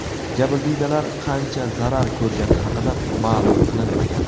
Jabrdiydalar qancha zarar ko‘rgani haqida ma’lum qilinmagan.